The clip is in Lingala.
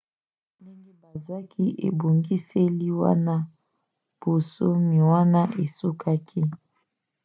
ndenge bazwaki ebongiseli wana bonsomi wana esukaki